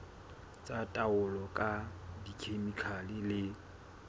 tsa taolo ka dikhemikhale le